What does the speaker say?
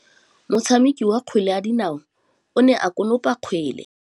Motshameki wa kgwele ya dinaô o ne a konopa kgwele.